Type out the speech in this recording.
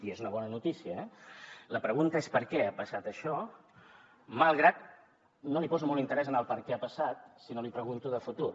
i és una bona notícia eh la pregunta és per què ha passat això malgrat que no li poso molt interès en el perquè ha passat sinó li pregunto de futur